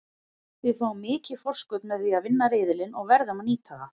Við fáum mikið forskot með því að vinna riðilinn og verðum að nýta það.